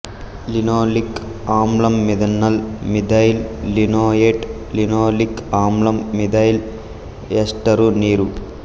linoleic ఆమ్లంమిథనాల్ methyl linoleate linoleic ఆమ్లం methyl ester నీరు